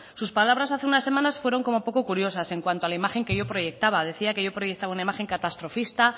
sus palabras hace unas semanas fueron como poco curiosas en cuanto a la imagen que yo proyectaba decía que yo proyectaba una imagen catastrofista